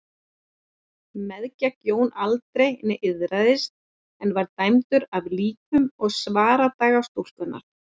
Meðgekk Jón aldrei né iðraðist en var dæmdur af líkum og svardaga stúlkunnar.